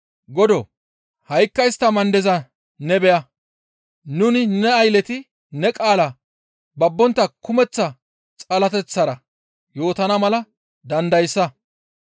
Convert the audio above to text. Godoo! Ha7ikka istta mandeza ne beya; nuni ne aylleti ne qaala babbontta kumeththa xalateththara yootana mala dandayssa.